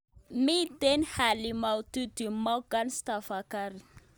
Mi hali maututi Morgan Tsvangirai